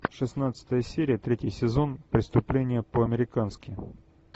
шестнадцатая серия третий сезон преступление по американски